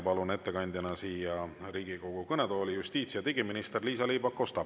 Palun ettekandjana siia Riigikogu kõnetooli justiits- ja digiminister Liisa-Ly Pakosta.